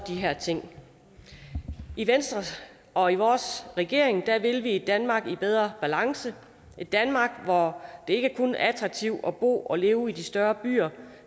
her ting i venstre og i vores regering vil vi et danmark i bedre balance et danmark hvor det ikke kun er attraktivt at bo og leve i de større byer